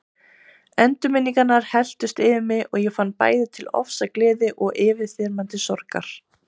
Endurminningarnar helltust yfir mig og ég fann bæði til ofsa gleði og yfirþyrmandi sorgar.